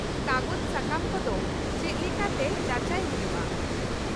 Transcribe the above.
-ᱠᱟᱜᱚᱡᱽ ᱥᱟᱠᱟᱢ ᱠᱚᱫᱚ ᱪᱮᱫ ᱞᱮᱠᱟᱛᱮ ᱡᱟᱪᱟᱭ ᱦᱩᱭᱩᱜᱼᱟ ?